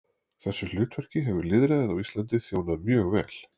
Þessu hlutverki hefur lýðræðið á Íslandi þjónað mjög vel.